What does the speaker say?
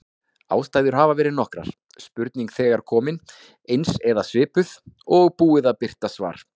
Ástæður hafa verið nokkrar: Spurning þegar komin, eins eða svipuð, og búið að birta svar.